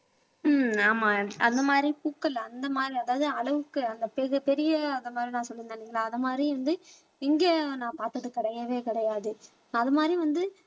உம் ஆமா அந்த மாதிரி பூக்கள் அந்த மாதிரி அதாவது அளவுக்கு அந்த பெரிய அந்த மாதிரி நான் சொல்லியிருந்தேன் இல்லைங்களா அது மாதிரி வந்து இங்கே நான் பார்த்தது கிடையவே கிடையாது அது மாதிரி வந்து